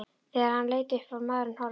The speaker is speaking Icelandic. Þegar hann leit upp var maðurinn horfinn.